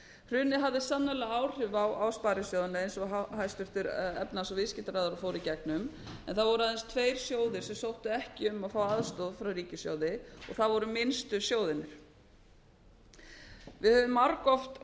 hrunið hafði sannarlega áhrif á sparisjóðina eins og hæstvirtur efnahags og viðskiptaráðherra fór í gegnum en það voru aðeins tveir sjóðir sem sóttu ekki um að fá aðstoð frá ríkissjóði það voru minnstu sjóðirnir við höfum margoft